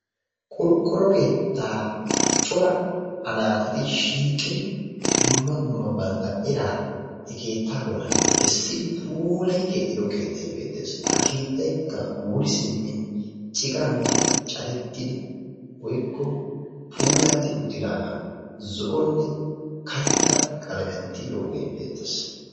qorqqoro keettaa dumma dumma anaaxxeti shiiqqidi dumma dumma bantta eraa he keettaa bollaan beessidi puulayi keexxido keettay beettees. Ha keettaykka wuri siimmin ciqaan caadettidi woykko puulatti uttidaagaa zoo"onne karetta qalaamiyaan tiyidoogee beettees.